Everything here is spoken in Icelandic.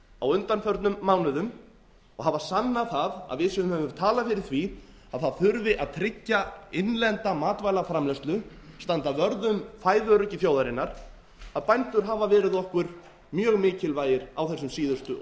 á undanförnum mánuðum og sannað það að við sem höfum talað fyrir því að það þurfi að tryggja innlenda matvælaframleiðslu standa vörð um fæðuöryggi þjóðarinnar að bændur hafa verið okkur mjög mikilvægir á þessum síðustu